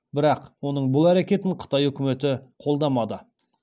бірақ оның бұл әрекетін қытай үкіметі қолдамады